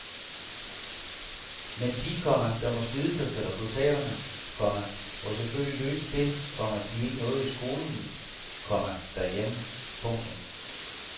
Men de, komma der må slide sig til resultaterne, komma må selvfølgelig løse det, komma de ikke nåede i skolen, komma derhjemme. punktum